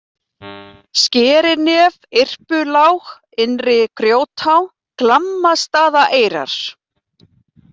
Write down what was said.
Skerinef, Yrpulág, Innri-Grjótá, Glammastaðaeyrar